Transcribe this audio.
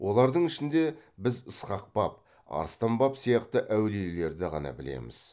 олардың ішінде біз ысқақ баб арыстан баб сияқты әулиелерді ғана білеміз